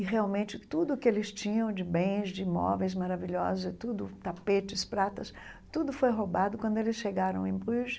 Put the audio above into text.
E, realmente, tudo o que eles tinham de bens, de móveis maravilhosos, e tudo tapetes, pratas, tudo foi roubado quando eles chegaram em Bruges.